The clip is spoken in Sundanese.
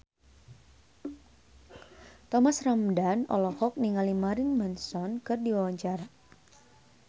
Thomas Ramdhan olohok ningali Marilyn Manson keur diwawancara